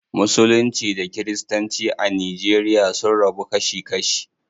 Musulunci da kiristanci a nigeria sun rabu kashi kashi.